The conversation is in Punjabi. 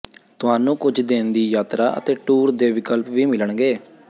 ਤੁਹਾਨੂੰ ਕੁਝ ਦਿਨ ਦੀ ਯਾਤਰਾ ਅਤੇ ਟੂਰ ਦੇ ਵਿਕਲਪ ਵੀ ਮਿਲਣਗੇ